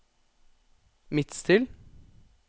Midtstill